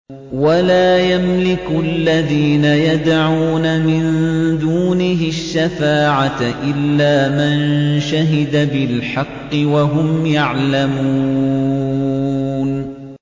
وَلَا يَمْلِكُ الَّذِينَ يَدْعُونَ مِن دُونِهِ الشَّفَاعَةَ إِلَّا مَن شَهِدَ بِالْحَقِّ وَهُمْ يَعْلَمُونَ